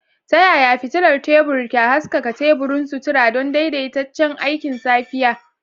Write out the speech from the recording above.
Ta yaya fitilar tebur za ta haskaka teburin sutura don daidaitaccen aikin safiya?